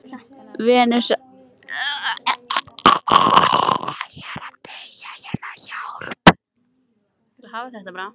Frjóvgunin á sér venjulegast stað í annarri hvorri legpípunni.